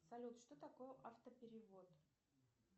салют что такое автоперевод